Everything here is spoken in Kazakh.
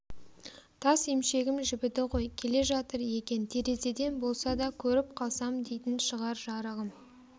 тас емшегім жібіді ғой келе жатыр екен терезеден болса да көріп қалсам дейтін шығар жарығым